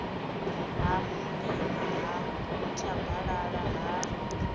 ha mulima ha nthabalala ha